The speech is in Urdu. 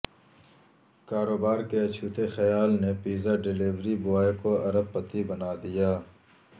کاروبار کے اچھوتے خیال نے پیزا ڈیلیوری بوائے کو ارب پتی بنا دیا